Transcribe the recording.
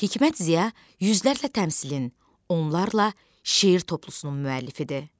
Hikmət Ziya yüzlərlə təmsilin, onlarla şeir toplusunun müəllifidir.